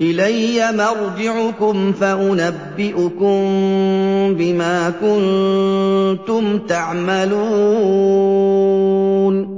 إِلَيَّ مَرْجِعُكُمْ فَأُنَبِّئُكُم بِمَا كُنتُمْ تَعْمَلُونَ